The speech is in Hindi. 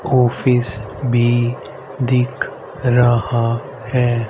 ऑफिस भी दिख रहा है।